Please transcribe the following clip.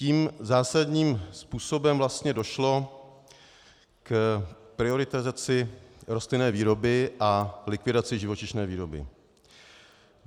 Tím zásadním způsobem vlastně došlo k prioritizaci rostlinné výroby a likvidaci živočišné výroby.